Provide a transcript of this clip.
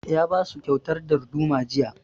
Ya ba su kyautar darduma jiya